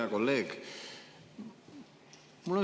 Hea kolleeg!